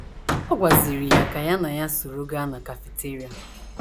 Ọ gwaziri ya ka ya na ya soro gaa na kafiteria.